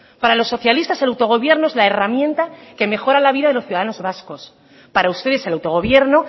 para los socialistas el autogobierno es la herramienta que mejora la vida de los ciudadanos vascos para ustedes el autogobierno